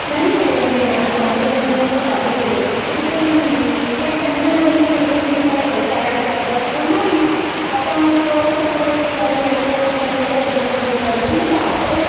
नाहीये हे आता आम्ही मध्यंतरी गावी गेलो किती तरी मुली पण त्यांना इं जनरल विचारलं शाळेत जाता का? नाही आता सोळा सतरा वर्ष झाली अठरा वर्षे झाली की लग्न करून जायचं गावाकडे